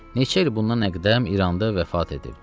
Neçə il bundan əqdəm İranda vəfat edibdir.